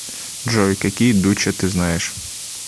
джой какие дуче ты знаешь